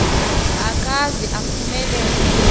akaze aphume lele